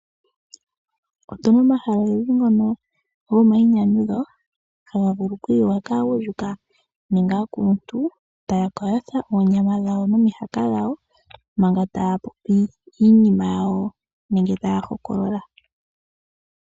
Otuna omahala ogendji ngono gomainyanyudho haga vulu oku yiwa kaagundjuka nenge aakuluntu taya ka yotha oonyama dhawo nomihaka dhawo manga taya popi iinima yawo nenge taya hokolola.